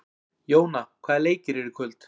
Jóna, hvaða leikir eru í kvöld?